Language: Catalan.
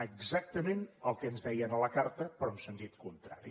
exactament el que ens deia a la carta però en sentit contrari